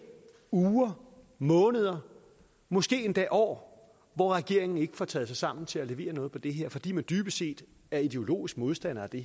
uger måneder måske endda år hvor regeringen ikke får taget sig sammen til at levere noget på det her fordi de dybest set er ideologiske modstandere af det